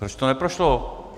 Proč to neprošlo